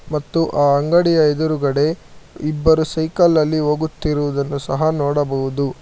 ಮತ್ತು ಆ ಅಂಗಡಿಯ ಎದುರುಗಡೆ ಇಬ್ಬರು ಸೈಕಲ್ ನಲ್ಲಿ ಹೋಗುತ್ತಿರುವುದನ್ನು ಸಹ ನೋಡಬಹುದು.